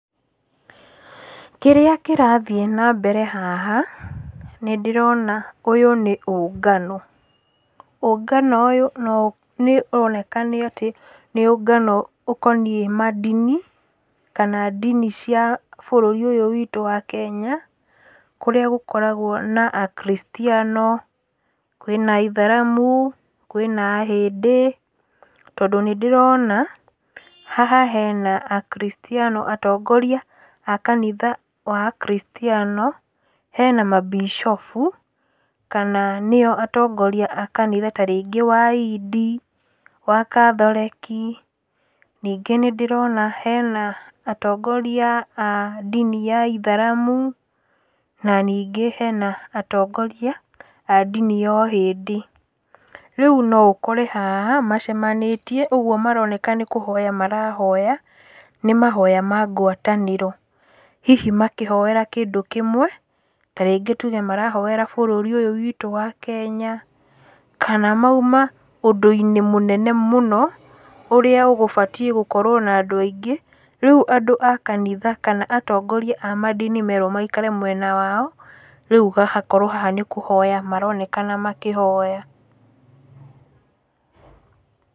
Kĩrĩa kĩrathiĩ nambere haha, nĩndĩrona ũyũ nĩ ũngano, ũngano ũyũ no nĩũroneka nĩ atĩ nĩ ũngano ũkoniĩ mandini, kana ndini cia bũrũri ũyũ witũ wa Kenya, kũrĩa gũkoragwo na Akrictiano, kwĩna aitharamu, kwĩna ahĩndĩ, tondũ nĩndĩrona haha hena akrictiano atongoria a kanitha wa akarictiano, hena mambicobu, kana nĩo atongoria a kanitha ta rĩngĩ wa indi, wa kathoriki, ningĩ nĩndĩrona hena atongoria a ndini ya aitharamu, na ningĩ hena atongoria a ndini ya ahĩndĩ. Rĩu noũkore haha, macemanĩtie, ũguo maroneka nĩkũhoya marahoya, nĩ mahoya ma ngwatanĩro. Hihi makĩhoera kĩndũ kĩmwe, ta rĩngĩ tuge marahoera bũrũri ũyũ witũ wa Kenya, kana mauma ũndũ-inĩ mũnene mũno, ũrĩa ũgũbatiĩ gũkorwo na andũ aingĩ, rĩu andũ a kanitha kana atongoria a mandini merwo maikare mwena wao, rĩu hagakorwo haha nĩkũhoya maranekana makĩhoya.